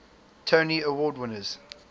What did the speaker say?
tony award winners